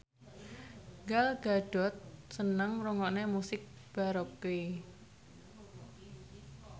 Gal Gadot seneng ngrungokne musik baroque